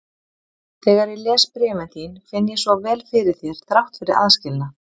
Þegar ég les bréfin þín finn ég svo vel fyrir þér þrátt fyrir aðskilnað.